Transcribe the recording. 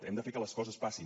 hem de fer que les coses passin